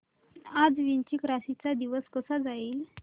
आज वृश्चिक राशी चा दिवस कसा जाईल